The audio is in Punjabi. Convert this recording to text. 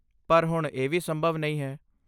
ਪਰ ਹੁਣ ਇਹ ਵੀ ਸੰਭਵ ਨਹੀਂ ਹੈ।